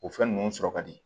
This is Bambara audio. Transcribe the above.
O fɛn ninnu sɔrɔ ka di